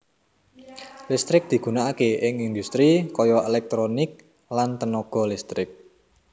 Listrik digunakake ing industri kaya elektronik lan tenaga listrik